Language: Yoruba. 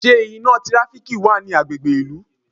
Ṣé iná tíráfíkì wa ni agbègbè ìlú?